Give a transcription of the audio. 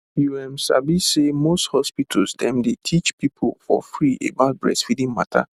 you ehm sabi say most hospital dem dey teach people for free about breastfeeding mata